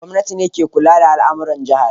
Gwamnati ce ke kula da al'amuran jihar